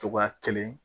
Togoya kelen